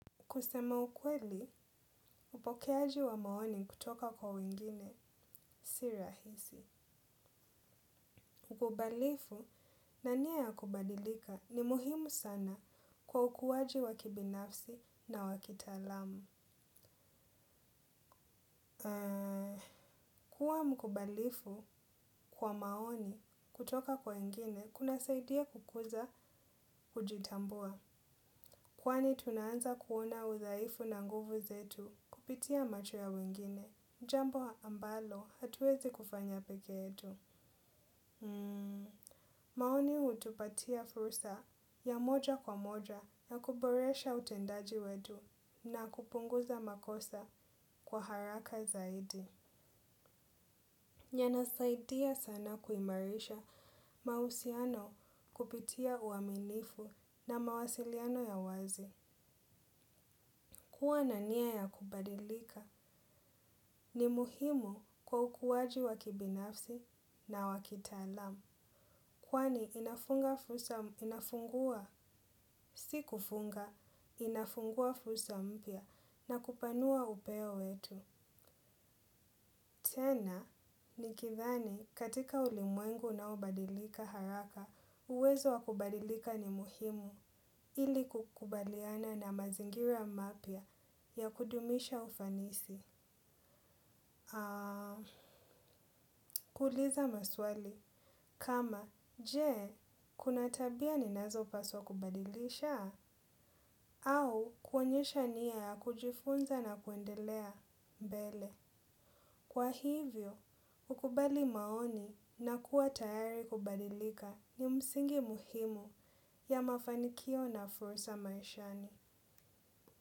Kusema ukweli, upokeaji wa maoni kutoka kwa wengine si rahisi. Ukubalifu na nia ya kubadilika ni muhimu sana kwa ukuwaji wa kibinafsi na wa kitaalamu. Kwa mkubalifu kwa maoni kutoka kwa wengine, kunasaidia kukuza kujitambua. Kwani tunaanza kuona udhaifu na nguvu zetu kupitia macho ya wengine. Jambo ambalo hatuwezi kufanya peke yetu. Maoni hutupatia fursa ya moja kwa moja ya kuboresha utendaji wetu na kupunguza makosa kwa haraka zaidi. Yanasaidia sana kuimarisha mausiano kupitia uaminifu na mawasiliano ya wazi. Kua na nia ya kubadilika ni muhimu kwa ukuwaji wa kibinafsi na wa kitaalam. Kwani inafunga fursa inafungua si kufunga inafungua fursa mpya na kupanua upeo wetu. Tena, nikidhani katika ulimwengu unaobadilika haraka, uwezo wa kubadilika ni muhimu ili kukubaliana na mazingira mapya ya kudumisha ufanisi. Aaaa, kuuliza maswali kama je kuna tabia ninazopaswa kubadilisha au kuonyesha nia ya kujifunza na kuendelea mbele. Kwa hivyo, kukubali maoni na kuwa tayari kubadilika ni msingi muhimu ya mafanikio na fursa maishani.